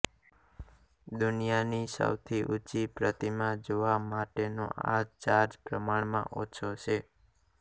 દુનિયાની સૌથી ઉંચી પ્રતિમા જોવા માટેનો આ ચાર્જ પ્રમાણમાં ઓછો છે